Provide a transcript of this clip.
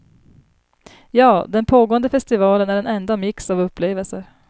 Ja, den pågående festivalen är en enda mix av upplevelser.